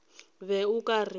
be o ka re ba